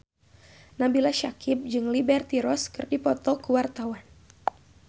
Nabila Syakieb jeung Liberty Ross keur dipoto ku wartawan